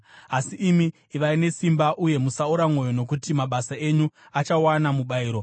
Asi imi, ivai nesimba uye musaora mwoyo nokuti mabasa enyu achawana mubayiro.”